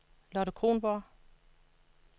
Lotte Kronborg